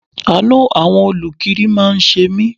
Àánú àwọn olukiri máa ń ṣe mí.